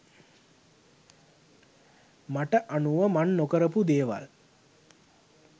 මට අනුව මං නොකරපු දේවල්.